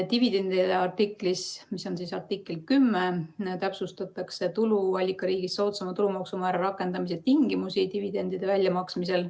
Dividendide artiklis, mis on artikkel 10, täpsustatakse tuluallikariigis soodsama tulumaksumäära rakendamise tingimusi dividendide väljamaksmisel.